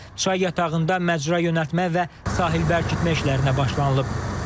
Çay yatağında məcra yönəltmə və sahil bərkitmə işlərinə başlanılıb.